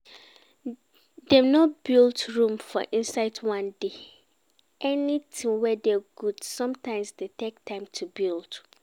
Dem no build Rome for inside one day, anything wey dey good sometimes dey take time to build